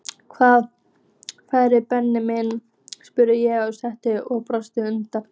Hvaða ferðir Benni minn? spurði ég sakleysislega og brosti undrandi.